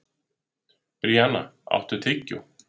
Bríanna, áttu tyggjó?